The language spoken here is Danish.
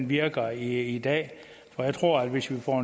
virker i dag jeg tror at hvis vi får